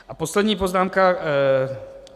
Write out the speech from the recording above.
A poslední poznámka.